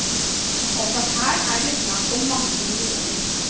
Også her er det er snakk om mange millioner.